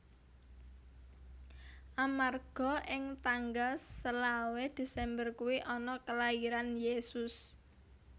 Amarga ing tanggal selawe desember kui ana kelairan Yesus